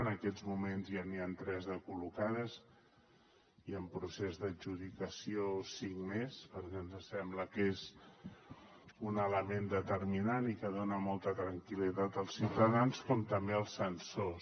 en aquests moments ja n’hi ha tres de col·locades i en procés d’adjudicació cinc més perquè ens sembla que és un element determinant i que dona molta tranquil·litat als ciutadans com també els sensors